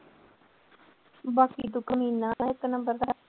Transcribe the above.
ਬਾਕੀ ਤੂੰ ਕਮੀਨਾ ਇੱਕ number ਦਾ।